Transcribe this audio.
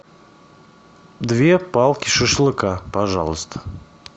две палки шашлыка пожалуйста